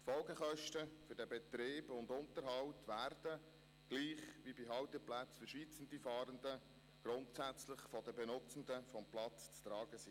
Die Folgekosten für den Betrieb und den Unterhalt werden gleich wie bei Halteplätzen für Schweizer Fahrende grundsätzlich von den Benutzenden des Platzes zu tragen sein.